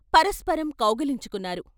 పరస్పరం కౌగిలించుకున్నారు.